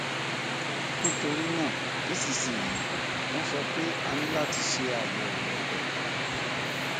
nítorí náà nísinsìnyí wọn sọ pé a ní láti ṣe àyẹwò ẹdọ